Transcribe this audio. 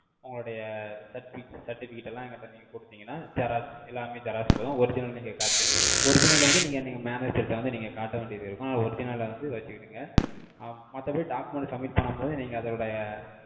உங்களுடைய certifi~ certificate எல்லாம், எங்கிட்ட நீங்க குடுத்தீங்கன்னா, xerox, எல்லாமே xerox போதும். Original நீங்க காட்~ Original ல வந்து, நீங்க அன்னைக்கு manager ட வந்து, நீங்க காட்ட வேண்டியது இருக்கும். அதை original அ வந்து, வச்சுக்கிடுங்க. ஆ, மத்தபடி, document submit பண்ணும் போது, நீங்க, அதோடைய,